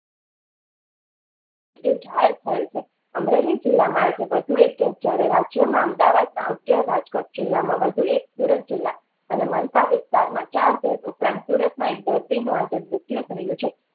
અમરેલી જિલ્લામાં આજે વધુ એક case એમદાવાદ માં અગ્યાર રાજકોટ જિલ્લામાં વધુ એક સુરત જિલ્લા અને મનપા વિસ્તારમાં ચાર ઉપરાંત સુરતમાં એક દર્દી આજે મૃત્યુ થયું છે